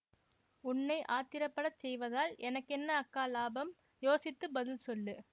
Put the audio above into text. உன்னை ஆத்திரப்படச் செய்வதால் எனக்கென்ன அக்கா இலாபம் யோசித்து பதில் சொல்லு